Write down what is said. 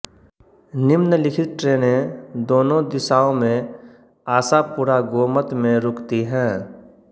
निम्नलिखित ट्रेनें दोनों दिशाओं में आशापुरा गोमत में रुकती हैं